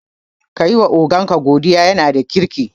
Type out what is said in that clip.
Kayi wa ogan ka godiya, yana da kirki